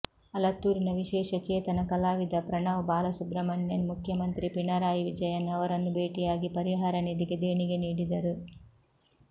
ಅಲತ್ತೂರಿನ ವಿಶೇಷ ಚೇತನ ಕಲಾವಿದ ಪ್ರಣವ್ ಬಾಲಸುಬ್ರಮಣ್ಯನ್ ಮುಖ್ಯಮಂತ್ರಿ ಪಿಣರಾಯಿ ವಿಜಯನ್ ಅವರನ್ನು ಭೇಟಿಯಾಗಿ ಪರಿಹಾರ ನಿಧಿಗೆ ದೇಣಿಗೆ ನೀಡಿದರು